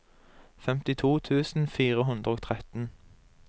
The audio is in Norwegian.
femtito tusen fire hundre og tretten